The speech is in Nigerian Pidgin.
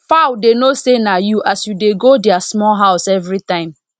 fowl dey know say na you as you dey go their small house every time